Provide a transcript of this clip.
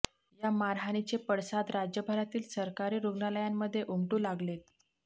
या मारहाणीचे पडसाद राज्यभरातील सरकारी रुग्णालयांमध्ये उमटू लागलेत